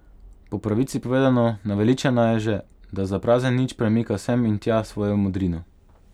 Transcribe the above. Po pravici povedano, naveličana je že, da za prazen nič premika sem in tja svojo modrino.